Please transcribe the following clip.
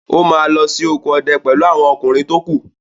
ó ma lọ sí oko ọdẹ pẹ̀lú àwọn ọkùnrin tókù.